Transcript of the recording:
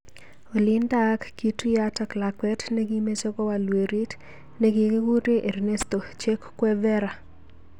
Olindak kituyat ak lakwet nikimeche kowal werit nikikikure Ernesto "Che" Guevara.